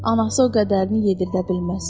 Anası o qədərini yedirdə bilməz.